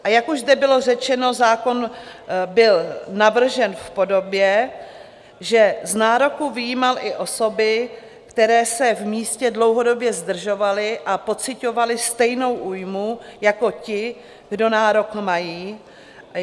A jak už zde bylo řečeno, zákon byl navržen v podobě, že z nároku vyjímal i osoby, které se v místě dlouhodobě zdržovaly a pociťovaly stejnou újmu jako ti, kdo nárok mají.